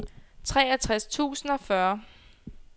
treogtres tusind og fyrre